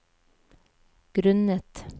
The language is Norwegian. grunnet